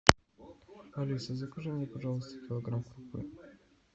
алиса закажи мне пожалуйста килограмм крупы